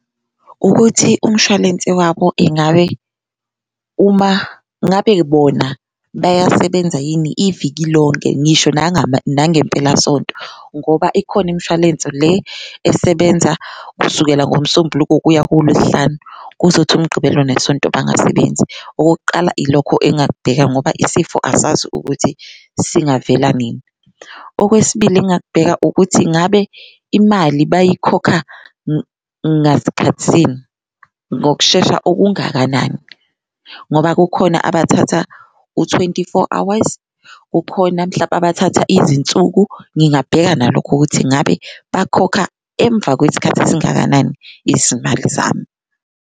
Ukuthi umshwalense wabo engabe uma ngabe bona bayasebenza yini iviki lonke ngisho nangempelasonto ngoba ikhona imshwalense le esebenza kusukela ngoMsombuluko kuya kuLwesihlanu kuzothi uMgqibelo neSonto bangasebenzi, okokuqala ilokho engingakubheka ngoba isifo asazi ukuthi singavela nini. Okwesibili, engingakubheka ukuthi ngabe imali bayikhokha ngaskhathisini, ngokushesha okungakanani ngoba kukhona abathatha u-twenty-four hours, kukhona mhlampe abathatha izinsuku. Ngingabheka nalokho ukuthi ngabe bakhokha emva kwesikhathi esingakanani izimali zami.